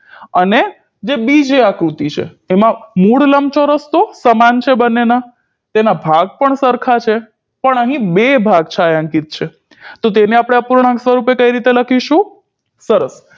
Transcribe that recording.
અને જે બીજી આકૃતિ છે એમાં મૂળ લંબચોરસ તો સમાન છે બંનેના તેના ભાગ પણ સરખા છે પણ અહી બે ભાગ છાંયાંકીત છે તો તેને આપણે અપૂર્ણાંક સ્વરુપે કઈ રીતે લખીશું સરસ